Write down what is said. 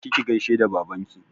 Je ki ki gaishe da babanki!